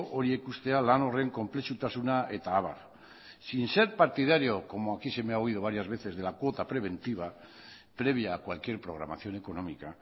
horiek ustea lan horren konplexutasuna eta abar sin ser partidario como aquí se me ha oído varias veces de la cuota preventiva previa a cualquier programación económica